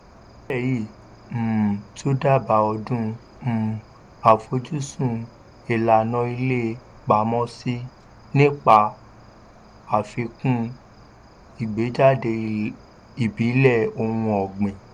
iṣẹ́ yìí um tún dábàá ọdún um àfojúsùn ìlànà ilé pamọ́sí nípa àfikún ìgbéjáde ìbílẹ̀ ohun ọ̀gbìn.